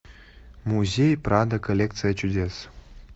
музей прадо коллекция чудес